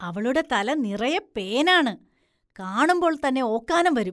അവളുടെ തല നിറയെ പേനാണ്, കാണുമ്പോള്‍ തന്നെ ഓക്കാനം വരും.